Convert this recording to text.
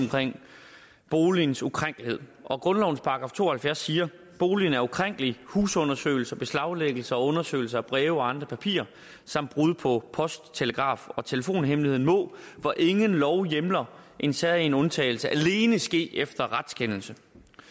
boligens ukrænkelighed og grundlovens § to og halvfjerds siger boligen er ukrænkelig husundersøgelse beslaglæggelse og undersøgelse af breve og andre papirer samt brud på post telegraf og telefonhemmeligheden må hvor ingen lov hjemler en særegen undtagelse alene ske efter en retskendelse